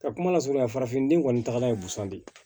Ka kuma lasurunya farafinden kɔni tagala ye busan de ye